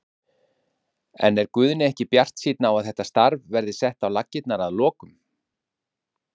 En er Guðni ekki bjartsýnn á að þetta starf verði sett á laggirnar að lokum?